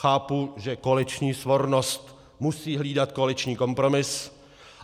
Chápu, že koaliční svornost musí hlídat koaliční kompromis.